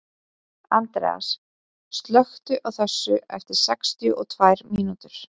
Andreas, slökktu á þessu eftir sextíu og tvær mínútur.